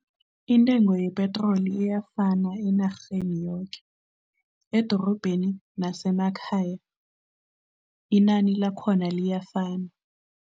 Intengo yepetroli iyafana enarheni yoke. Edorobheni nasemakhaya, inani lakhona liyafana.